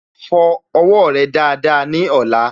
Fọ owó rẹ dáadáa ní ọ̀la